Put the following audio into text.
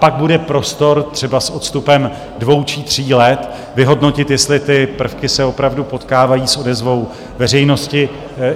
Pak bude prostor třeba s odstupem dvou či tří let vyhodnotit, jestli ty prvky se opravdu potkávají s odezvou veřejnosti.